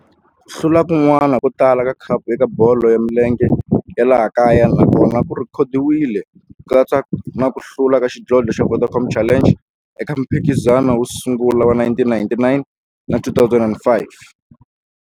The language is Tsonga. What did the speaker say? Ku hlula kun'wana ko tala ka khapu eka bolo ya milenge ya laha kaya na kona ku rhekhodiwile, ku katsa na ku hlula ka xidlodlo xa Vodacom Challenge eka mphikizano wo sungula wa 1999 na 2005.